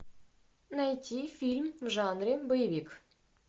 найти фильм в жанре боевик